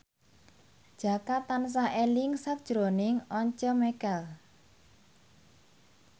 Jaka tansah eling sakjroning Once Mekel